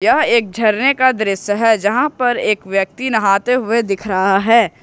यह एक झरने का दृश्य है जहां पर एक व्यक्ति नहाते हुए दिख रहा है।